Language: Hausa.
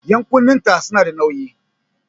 Ƴan'kunnen ta su na da nauƴi